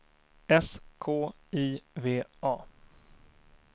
S K I V A